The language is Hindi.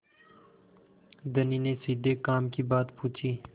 धनी ने सीधे काम की बात पूछी